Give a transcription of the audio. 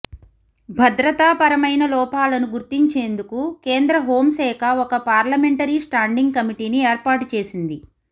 భద్రతాపరమయిన లోపాలను గుర్తించేందుకు కేంద్ర హోం శాఖ ఒక పార్లమెంటరీ స్టాండింగ్ కమిటీని ఏర్పాటు చేసింది